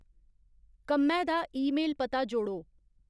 कम्मै दा ईमेल पता जोड़ो